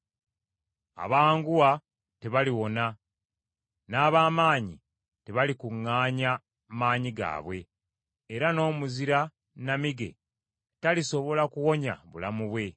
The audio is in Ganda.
Abanguwa tebaliwona, n’ab’amaanyi tebalikuŋŋaanya maanyi gaabwe era n’omuzira nnamige talisobola kuwonya bulamu bwe.